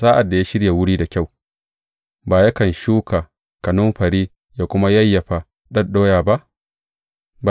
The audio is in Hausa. Sa’ad da ya shirya wuri da kyau, ba yakan shuka kanumfari ya kuma yayyafa ɗaɗɗoya ba?